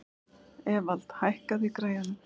Evald, hækkaðu í græjunum.